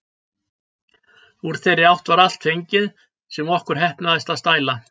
Úr þeirri átt var allt fengið, sem okkur heppnaðist að stæla.